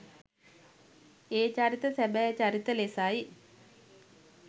ඒ චරිත සැබෑ චරිත ලෙසයි